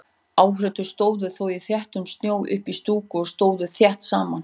Áhorfendur stóðu þó í þéttum snjónum uppí stúku og stóðu þétt saman.